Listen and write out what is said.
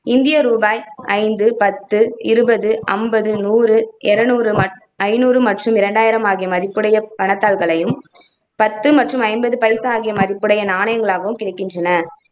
இந்திய ரூபாய் ஐந்து, பத்து, இருபது, ஐம்பது, நூறு, இருநூறு, ம ஐந்நூறு மற்றும் இரண்டாயிரம் ஆகிய மதிப்புடைய பணதாள்களையும், பத்து மற்றும் ஐம்பது பைசா ஆகிய மதிப்புடைய நாணயங்களாகவும் கிடைக்கின்றன.